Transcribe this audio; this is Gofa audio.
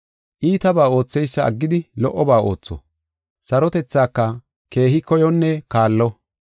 Iitabaa ootheysa aggidi lo77oba ootho; sarotethaaka keehi koyonne kaallo.